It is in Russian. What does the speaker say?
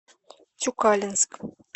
тюкалинск